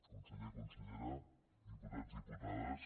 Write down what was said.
conseller consellera diputats diputades